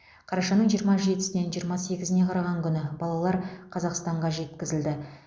қарашаның жиырма жетісінен жиырма сегізіне қараған күні балалар қазақстанға жеткізілді